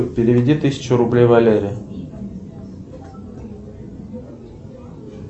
переведи тысячу рублей валере